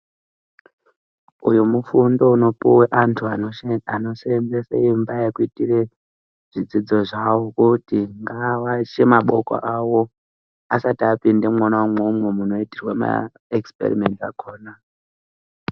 Uyu mu fundo uno puwa antu ano senzese imba yekuitire zvidzidzo zvavo kuti ngava washe maboko awo asasi apinda mwona imomo mu itirwa ma exiperimensi akona.